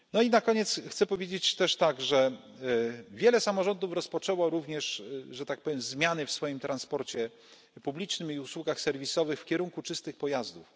Na koniec, chcę powiedzieć też, że wiele samorządów rozpoczęło również zmiany w swoim transporcie publicznym i usługach serwisowych w kierunku czystych pojazdów.